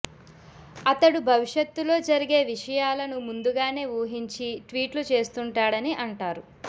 అతడు భవిష్యత్తులో జరిగే విషయాలను ముందుగానే ఊహించి ట్వీట్లు చేస్తుంటాడని అంటారు